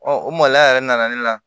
o maloya yɛrɛ nana ne la